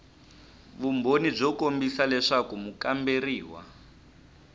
vumbhoni byo kombisa leswaku mukamberiwa